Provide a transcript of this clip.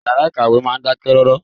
Ìyàrá ìkàwé máa ń dákẹ́ rọ́rọ́.